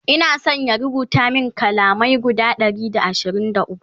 Ina San ya rubuta min kalamai guda Ɗari da ashirin da ukwu